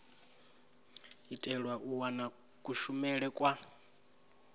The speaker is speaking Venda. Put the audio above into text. itela u wana kushumele kwa